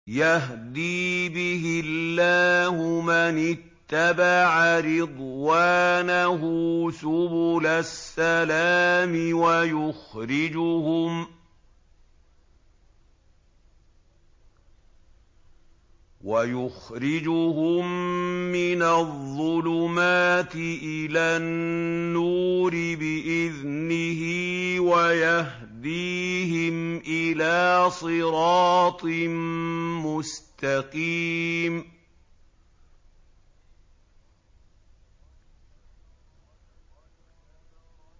يَهْدِي بِهِ اللَّهُ مَنِ اتَّبَعَ رِضْوَانَهُ سُبُلَ السَّلَامِ وَيُخْرِجُهُم مِّنَ الظُّلُمَاتِ إِلَى النُّورِ بِإِذْنِهِ وَيَهْدِيهِمْ إِلَىٰ صِرَاطٍ مُّسْتَقِيمٍ